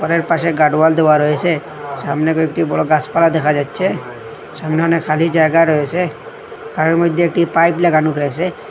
এর পাশে guard wall দেওয়া রয়েসে সামনে কয়েকটি বড় গাসপালা দেখা যাচ্ছে সামনে অনেক খালি জায়গা রয়েসে আর ওর মইদ্যে একটি পাইপ লাগানো রয়েসে।